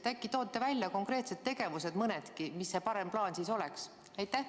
Äkki toote välja mõnedki konkreetsed tegevused, mis see parem plaan siis oleks?